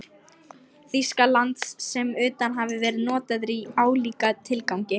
Þýskalands sem utan hafi verið notaðir í álíka tilgangi.